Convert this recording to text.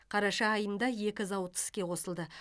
қараша айында екі зауыт іске қосылды